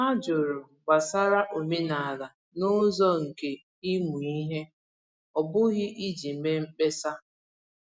Ha jụrụ gbasara omenala n’ụzọ nke ịmụ ihe, ọ bụghị iji mee mkpesa.